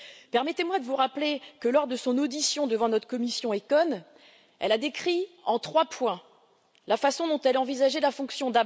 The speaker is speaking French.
Permettez moi de vous rappeler que, lors de son audition devant notre commission ECON, Mme Lagarde a décrit en trois points la façon dont elle envisageait la fonction.